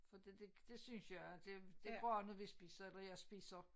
Fordi det det synes jeg det det varer når vi spiser eller jeg spiser